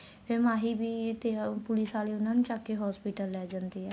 ਫ਼ੇਰ ਮਾਹੀ ਵੀ police ਆਲੇ ਉਹਨਾ ਨੂੰ ਚੱਕਕੇ hospital ਲੈ ਜਾਂਦੇ ਆ